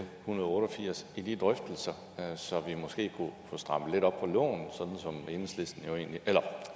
hundrede og otte og firs i de drøftelser så vi måske kunne få strammet lidt op på loven sådan som